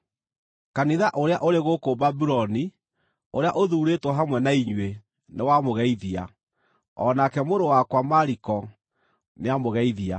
Kanitha ũrĩa ũrĩ gũkũ Babuloni, ũrĩa ũthuurĩtwo hamwe na inyuĩ, nĩwamũgeithia, o nake mũrũ wakwa Mariko nĩamũgeithia.